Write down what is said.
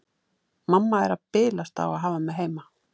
Mamma er að bilast á að hafa mig heima.